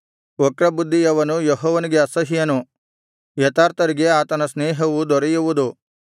ವಕ್ರಬುದ್ಧಿಯವನು ಯೆಹೋವನಿಗೆ ಅಸಹ್ಯನು ಯಥಾರ್ಥರಿಗೆ ಆತನ ಸ್ನೇಹವು ದೊರೆಯುವುದು